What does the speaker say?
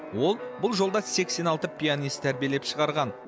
ол бұл жолда сексен алты пианист тәрбиелеп шығарған